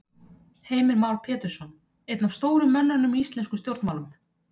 Heimir Már Pétursson: Einn af stóru mönnunum í íslenskum stjórnmálum?